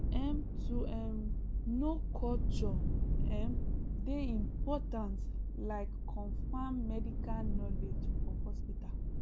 em to um know culture um dey important like confam medical knowledge for hospital